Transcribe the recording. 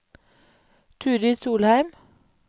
Turid Solheim